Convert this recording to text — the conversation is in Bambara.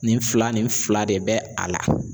Nin fila nin fila de bɛ a la.